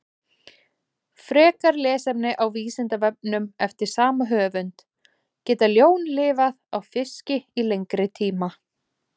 Frekara lesefni á Vísindavefnum eftir sama höfund: Geta ljón lifað á fiski í lengri tíma?